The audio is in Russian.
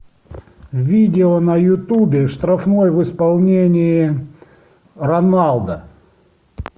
видео на ютубе штрафной в исполнении роналдо